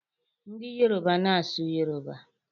Ndị Yoroba na-asụ Yoroba.